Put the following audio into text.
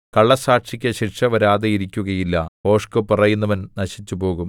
കള്ളസ്സാക്ഷിക്ക് ശിക്ഷ വരാതിരിക്കുകയില്ല ഭോഷ്ക്ക് പറയുന്നവൻ നശിച്ചുപോകും